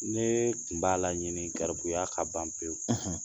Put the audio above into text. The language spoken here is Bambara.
Ne tun b'a la ɲini kɛrabuya ka ban pewu, .